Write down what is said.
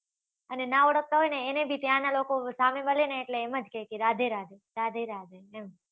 અને નાં ઓળખતા ને એને બી ત્યાં નાં લોકો સામે મળે ને એટલે એમ જ કહે કે રાધે રાધે રાધે રાધે એમ